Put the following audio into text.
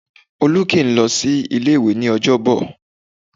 Olú kì í lọ sí ilé-ìwẹ́ ní Ọjọ́bọ̀